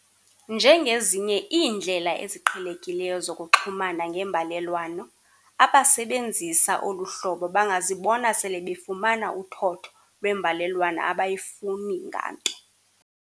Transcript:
Njengezinye iindlela eziqhelekileyo zokuxhumana ngembalelwano, abasebenzisa olu hlobo bangazibona sele befumana uthotho lwembalelwano abayifuni nganto.